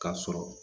K'a sɔrɔ